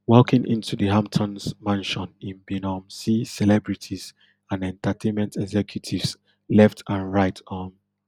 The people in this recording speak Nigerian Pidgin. walking into di hamptons mansion im bin um see celebrities and entertainment executives left and right um